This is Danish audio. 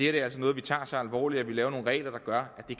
er noget vi tager så alvorligt at vi laver nogle regler der gør at det